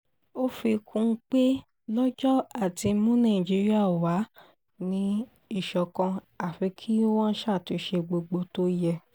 ó fi kún un pé lọ́jọ́ àti mú nàìjíríà wà ní ìṣọ̀kan àfi kí wọ́n ṣàtúnṣe gbogbo tó yẹ